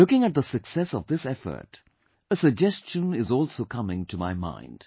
Looking at the success of this effort, a suggestion is also coming to my mind